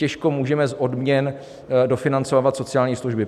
Těžko můžeme z odměn dofinancovávat sociální služby.